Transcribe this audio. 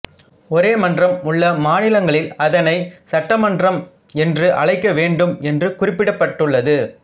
ஒரே மன்றம் உள்ள மாநிலங்களில் அதனைச் சட்ட மன்றம் என்று அழைக்க வேண்டும் என்று குறிப்பிடப்பட்டுள்ளது